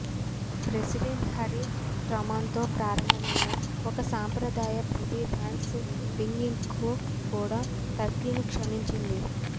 president Harry ట్రూమాన్తో ప్రారంభమైన ఒక సాంప్రదాయం ప్రతి థాంక్స్ గివింగ్కు కూడా టర్కీని క్షమించింది